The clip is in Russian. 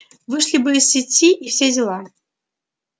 вышли бы из сети и все дела